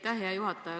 Aitäh, hea juhataja!